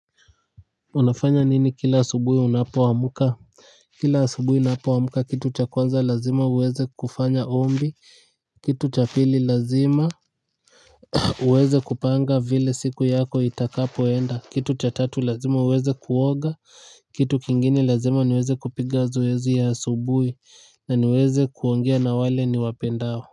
Unafanya nini kila asubui unapoamka? Kila asubui napoamuka, kitu cha kwanza lazima uweze kufanya ombi, kitu cha pili lazima uweze kupanga vile siku yako itakapoenda, kitu cha tatu lazima uweze kuoga, kitu kingine lazima niweze kupiga zoezi ya asubui na niweze kuongea na wale niwapendao.